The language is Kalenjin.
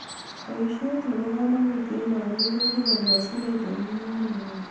Boisiet nebo kamanut eng olik koibu kolosunet eng mung'areng'ung